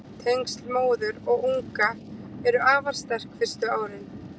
Tengsl móður og unga eru afar sterk fyrstu árin.